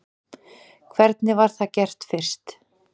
Hvernig var það gert fyrst?